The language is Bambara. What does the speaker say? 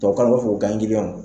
k'an bɛ fe k'u kanyigilɔn